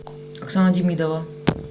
оксана демидова